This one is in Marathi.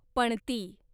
पणती